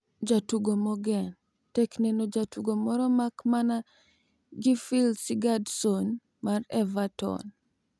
Jatugo mogen: tek neno jatugo moro mak mana Gylfi Sigurdsson mar Everton.